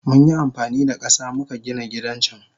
Munyi amfanida kasa muka Gina gidan can.